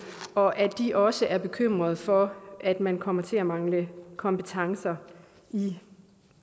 og at de også er bekymret for at man kommer til at mangle kompetencer i